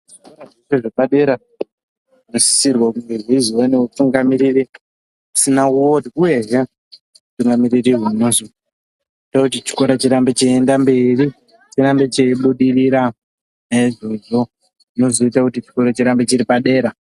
Zvikora zvepadera zvinosisirwa kunge zvaizoiva nemutungamiriri asina uore uyezve mutungamiriri anoita kuti chikora chirambe cheienderera mberi , chirambe cheibudirira neizvozvo zvinozoramba zvaita kuti chikora chirambe chiri padera .